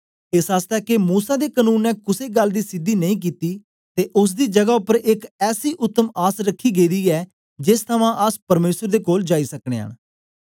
एस आसतै के मूसा दे कनून ने कुसे गल्ल दी सिद्धि नेई कित्ती ते ओसदी जगा उपर एक ऐसी उतम आस रखी गेदी ऐ जेस थमां अस परमेसर दे कोल जाई सकनयां न